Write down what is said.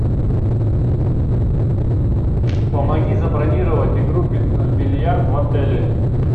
помоги забронировать игру в бильярд в отеле